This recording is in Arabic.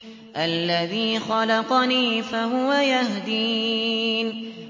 الَّذِي خَلَقَنِي فَهُوَ يَهْدِينِ